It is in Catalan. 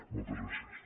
moltes gràcies